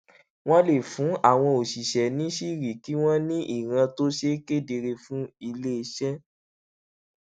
wón lè fún àwọn òṣìṣé níṣìírí kí wón ní ìran tó ṣe kedere fún ilé iṣé